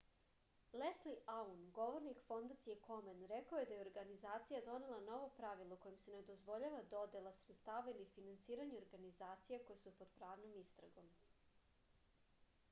lesli aun govornik fondacije komen rekao je da je organizacija donela novo pravilo kojim se ne dozvoljava dodela sredstava ili finansiranje organizacija koje su pod pravnom istragom